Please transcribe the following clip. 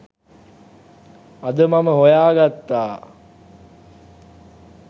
අද මම හොයාගත්තා.